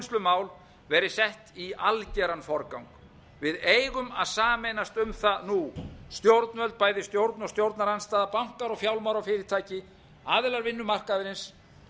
skuldaúrvinnslumál verði sett í algeran forgang við eigum að sameinast um það nú stjórnvöld bæði stjórn og stjórnarandstaða bankar og fjármálafyrirtæki aðilar vinnumarkaðarins